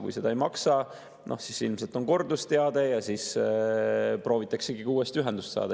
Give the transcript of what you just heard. Kui seda ei maksta, siis ilmselt on kordusteade, proovitaksegi uuesti ühendust saada.